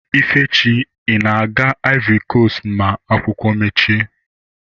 Ifechi ị na-aga ivory coast na emechi ụlọakwụkwọ